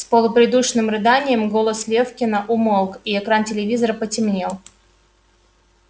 с полупридушенным рыданием голос лефкина умолк и экран телевизора потемнел